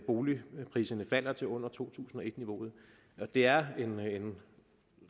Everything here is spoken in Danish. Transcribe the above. boligpriserne falder til under to tusind og et niveauet det er en